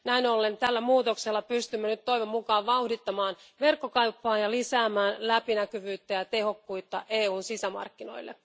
Näin ollen tällä muutoksella pystymme nyt toivon mukaan vauhdittamaan verkkokauppaa ja lisäämään läpinäkyvyyttä ja tehokkuutta EUn sisämarkkinoilla.